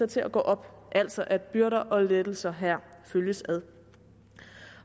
til at gå op altså at byrder og lettelser her følges ad